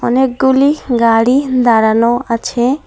অনেকগুলি গাড়ি দাঁড়ানো আছে।